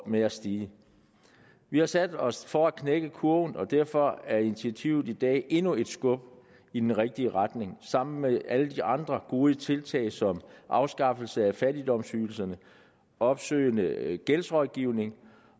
med at stige vi har sat os for at knække kurven og derfor er initiativet i dag endnu et skub i den rigtige retning sammen med alle de andre gode tiltag som afskaffelse af fattigdomsydelserne opsøgende gældsrådgivning